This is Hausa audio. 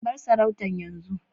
bar sarauta yanzu